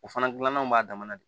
O fana gilannaw b'a dama de